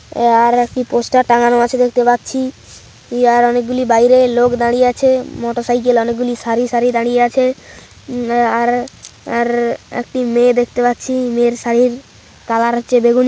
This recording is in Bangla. ইয়ার একটি পোস্টার টাঙানো আছে দেখতে পাচ্ছি ইয়ার অনেকগুলি বাইরে লোক দাঁড়িয়ে আছে মোটরসাইকেল অনেকগুলি সারি সারি দাঁড়িয়ে আছে আর আর একটি মেয়ে দেখতে পাচ্ছি মেয়ের শাড়ির কালার হচ্ছে বেগুনি।